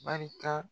Barika